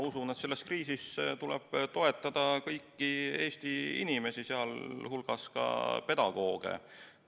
Ma usun, et selles kriisis tuleb toetada kõiki Eesti inimesi, sh pedagooge.